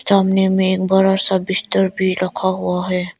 सामने मे एक बड़ा सा बिस्तर भी रखा हुआ है।